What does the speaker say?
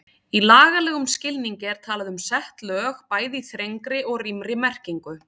Í lagalegum skilningi er talað um sett lög, bæði í þrengri og rýmri merkingu.